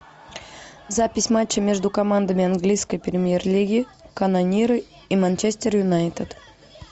запись матча между командами английской премьер лиги канониры и манчестер юнайтед